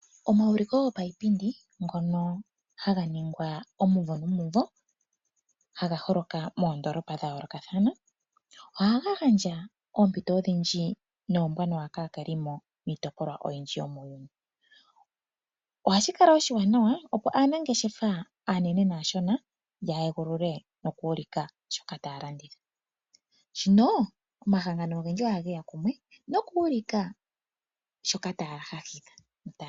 Omauliko gopaipindi ngono haga ningwa omumvo nomumvo haga holoka moondoolopa dha yoolokathana ohaga gandja oompito odhindji noombwanawa miitopolwa oyindji. Ohashi kala oshiwanawa opo aanangeshefa aane nene naashona ya egulule noku ulika shoka taya landitha. Omahangano ogendji ohageya kumwe noku ulika shoka taga landitha